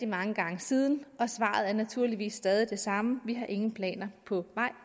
mange gange siden og svaret er naturligvis stadig det samme vi har ingen planer på vej